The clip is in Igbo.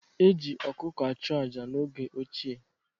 E ji ọkụkọ achụ aja n'oge ochie.